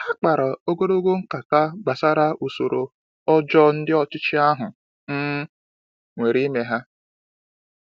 Ha kpara ogologo nkata gbasara usoro ọjọọ ndị ọchịchị ahụ um were mee ha.